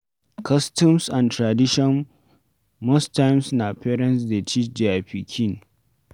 Customs and traditions most times na parents dey teach their pikin